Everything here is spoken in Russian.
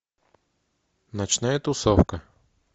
ночная тусовка